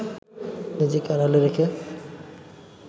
নিজেকে আড়ালে রেখে